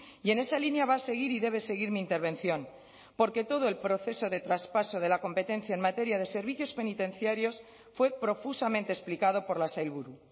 y en esa línea va a seguir y debe seguir mi intervención porque todo el proceso de traspaso de la competencia en materia de servicios penitenciarios fue profusamente explicado por la sailburu